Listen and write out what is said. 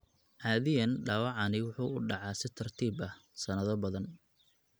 Caadiyan dhaawacani wuxuu u dhacaa si tartiib ah, sanado badan.